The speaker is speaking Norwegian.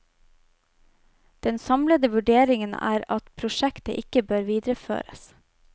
Den samlede vurderingen er at prosjektet ikke bør videreføres.